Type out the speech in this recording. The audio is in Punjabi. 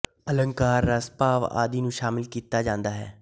ਅੰਲਕਾਰ ਰਸ ਭਾਵ ਆਦਿ ਨੂੰ ਸ਼ਾਮਲ ਕੀਤਾ ਜਾਂਦਾ ਹੈ